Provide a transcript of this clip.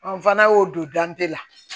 fana y'o don dan tɛ la